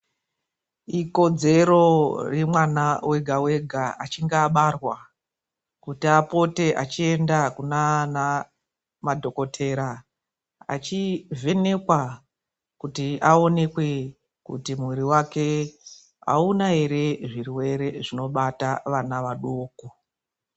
Ikodzero yemwana wega-wega achinga abarwa kuti apote achienda kunaana madhokotera achivhenekwa. Kuti aonekwe kuti mwiri vake hauna ere zvirwere zvinobata vana vadoko.